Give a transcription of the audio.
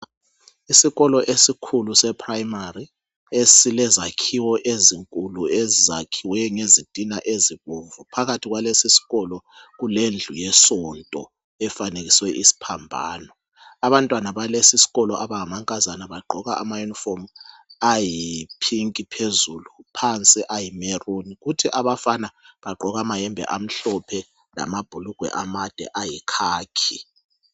Isikolo ezikhulu seprimary esilezakhiwo ezinkulu ezakhiwe ngezitina ezibomvu phakathi kwaleso sikolo kulendlu yesonto efanekiswe isiphambano abantwana bagqoka ama inifomu ayiphinki phezulu phansi ayimeruni kuthi abafana bagqoka amayembe amhlophe lamabhulugwe amade ayikhakhi